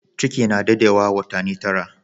Ciki na dadewa watani tara.